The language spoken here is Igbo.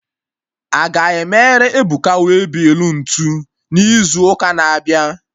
Aga emerụ Ebuka waybill ntụ izu ụka na-abịa?